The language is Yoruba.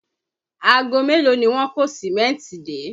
Aago mélòó ni wọ́n kó Sìmẹ́ntì dé?